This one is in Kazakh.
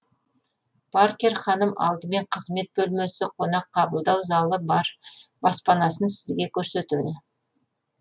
паркер ханым алдымен қызмет бөлмесі қонақ қабылдау залы бар баспанасын сізге көрсетеді